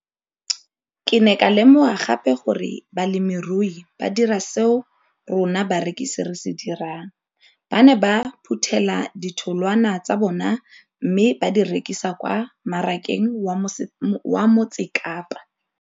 Ke ne ka lemoga gape gore balemirui ba dira seo rona barekisi re se dirang, ba ne ba phuthela ditholwana tsa bona mme ba di rekisa kwa marakeng wa Motsekapa.